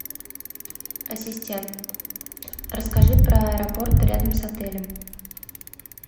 ассистент расскажи про аэропорт рядом с отелем